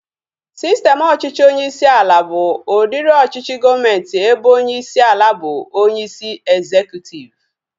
Sistem ọchịchị onyeisi ala bụ udiri ọchịchị gọọmenti ebe onyeisi ala bụ onyeisi ezekutiv